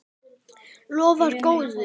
Lofar góðu!